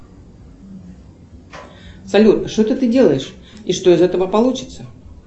салют что то ты делаешь и что из этого получится